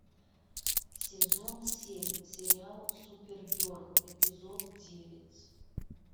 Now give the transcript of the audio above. сезон семь сериал супергерл эпизод девять